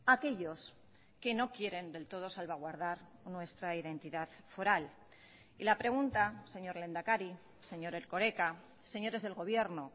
a aquellos que no quieren del todo salvaguardar nuestra identidad foral y la pregunta señor lehendakari señor erkoreka señores del gobierno